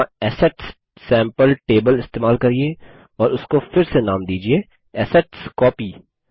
यहाँ assets sample table इस्तेमाल करिये और उसको फिर से नाम दीजिये असेटस्कोपी